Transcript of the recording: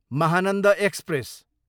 Mahananda express